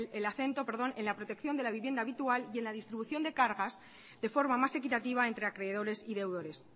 el acento en la protección de la vivienda habitual y en la distribución de cargas de forma más equitativa entre acreedores y deudores